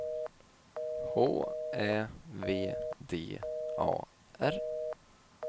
H Ä V D A R